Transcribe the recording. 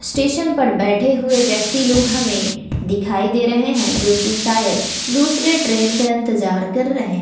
station पर बैठे हुए व्यक्ति लोग हमें दिखाई दे रहे हैं जो कि शायद दूसरे ट्रेन का इंतजार कर रहे--